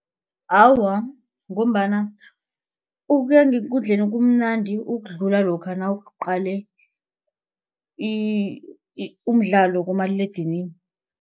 Awa, ngombana ukuya ngekundleni kumnandi ukudlula lokha nawuqale umdlalo kumaliledinini.